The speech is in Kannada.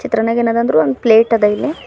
ಚಿತ್ರಣದಾಗ್ ಏನದ ಅಂದ್ರು ಒಂದು ಪ್ಲೇಟ್ ಅದ ಇಲ್ಲಿ.